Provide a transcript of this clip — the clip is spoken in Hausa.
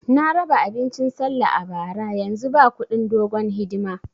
Na raba abincin sallah a bara, yanzu ba kudin dogon hidima